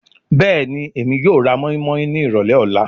Bẹẹni, Emi yoo ra moinmoin ni irọlẹ ọla